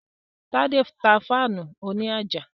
Tádé tá fáànù òní àjà